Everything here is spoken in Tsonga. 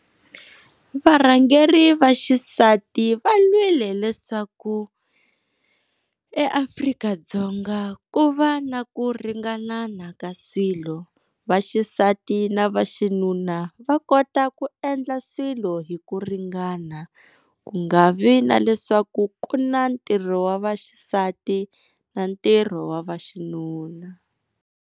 Varhangeri va xisati va lwile leswaku eAfrika-Dzonga ku va na ku ringanana ka swilo. Va xisati na va xinuna va kota ku endla swilo hi ku ringana ku nga vi na leswaku ku na ntirho wa va xisati na ntirho wa va xinuna.